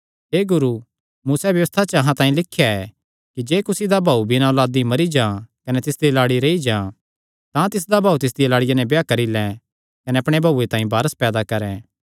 हे गुरू मूसैं व्यबस्था च अहां तांई लिख्या ऐ कि जे कुसी दा भाऊ बिना औलादी मरी जां कने तिसदी लाड़ी रेई जां तां तिसदा भाऊ तिसदिया लाड़िया नैं ब्याह करी लैं कने अपणे भाऊये तांई वारस पैदा करैं